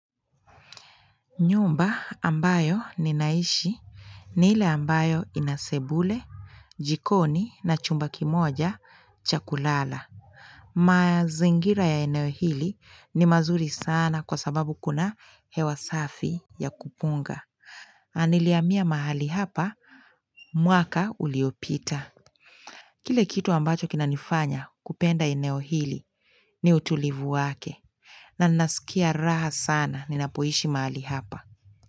Nyumba ambayo ninaishi ni ile ambayo ina sebule, jikoni na chumba kimoja cha kulala. Mazingira ya eneo hili ni mazuri sana kwa sababu kuna hewa safi ya kupunga. Nilihamia mahali hapa, mwaka uliopita. Kile kitu ambacho kinanifanya kupenda eneo hili ni utulivu wake. Na nasikia raha sana ninapoishi mahali hapa.